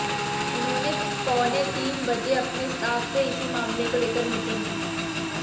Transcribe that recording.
उन्होंने पौने तीन बजे अपने स्टाफ से इसी मामले को लेकर मीटिंग की